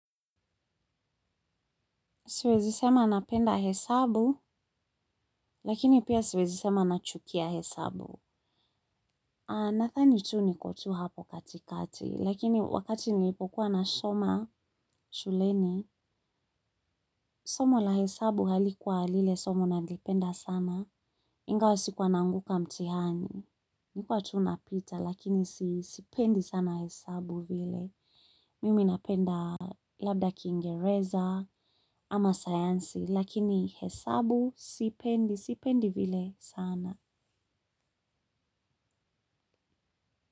Siwezi sema napenda hesabu, lakini pia siwezi sema nachukia hesabu. Nadhani tu niko tu hapo katikati, lakini wakati nilipokuwa nasoma shuleni, somo la hesabu halikuwa lile somo nalipenda sana, ingawa sikuwa naanguka mtihani. Nilikuwa tu napita, lakini sipendi sana hesabu vile. Mimi napenda labda kiingereza ama sayansi lakini hesabu sipendi, sipendi vile sana.